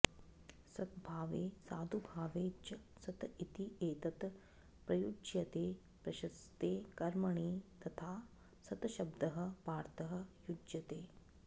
सद्भावे साधुभावे च सत् इति एतत् प्रयुज्यते प्रशस्ते कर्मणि तथा सत् शब्दः पार्थः युज्यते